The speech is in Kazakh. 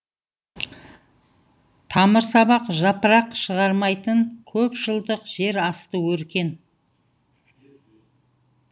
тамырсабақ жапырақ шығармайтын көпжылдық жер асты өркен